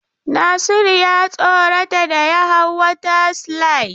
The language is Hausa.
Nasiru ya tsorata da ya hau water slide.